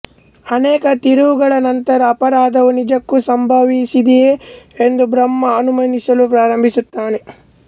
ಅನೇಕ ತಿರುವುಗಳ ನಂತರ ಅಪರಾಧವು ನಿಜಕ್ಕೂ ಸಂಭವಿಸಿದೆಯೇ ಎಂದು ಬ್ರಹ್ಮ ಅನುಮಾನಿಸಲು ಪ್ರಾರಂಭಿಸುತ್ತಾನೆ